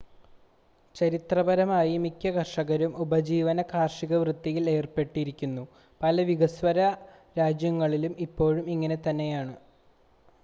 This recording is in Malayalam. ചരിത്രപരമായി മിക്ക കർഷകരും ഉപജീവന കാർഷികവൃത്തിയിൽ ഏർപ്പെട്ടിരുന്നു പല വികസ്വര രാജ്യങ്ങളിലും ഇപ്പോഴും ഇങ്ങനെ തന്നെയാണ്